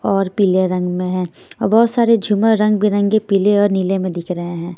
और पीले रंग में हैं बहुत सारे झूमर रंग बिरंगे पीले और नीले में दिख रहे हैं।